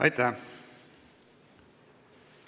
Aitäh!